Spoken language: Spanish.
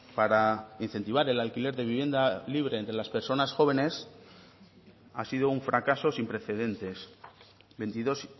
para incentivar el alquiler de vivienda libre entre las personas jóvenes ha sido un fracaso sin precedentes veintidos